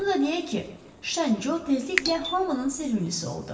Onu da deyək ki, Şən Co tezliklə hamının sevimlisi oldu.